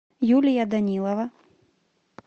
юлия данилова